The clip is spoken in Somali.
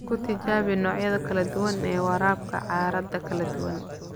Ku tijaabi noocyada kala duwan ee waraabka carrada kala duwan.